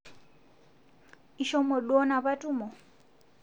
Ishomo duo napa tumo